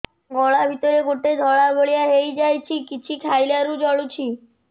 ଗଳା ଭିତରେ ଗୋଟେ ଧଳା ଭଳିଆ ହେଇ ଯାଇଛି କିଛି ଖାଇଲାରୁ ଜଳୁଛି